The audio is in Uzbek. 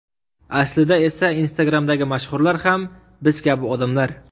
Aslida esa Instagram’dagi mashhurlar ham biz kabi odamlar.